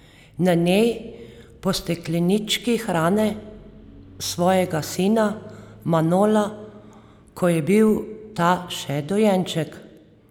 Na njej po steklenički hrani svojega sina Manola, ko je bil ta še dojenček.